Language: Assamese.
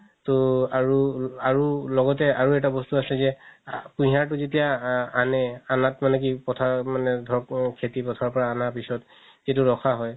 তৌ আৰু আৰু লগতে অৰু এটা বস্তু আছে যে আ কুহিয়াৰতো যেতিয়া আনে আনাত মানে কি পথাৰত মানে ধৰক খেতি পথাৰৰ পৰা আনাৰ পিছত যিতো ৰখা হয়